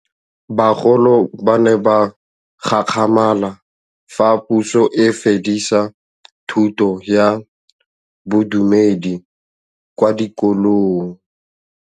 Bagolo ba ne ba gakgamala fa Pusô e fedisa thutô ya Bodumedi kwa dikolong.